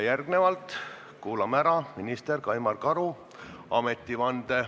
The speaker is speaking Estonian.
Järgmisena kuulamegi ära minister Kaimar Karu ametivande.